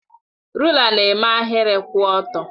Rụ́la na-eme ahịrị kwụ ọtọ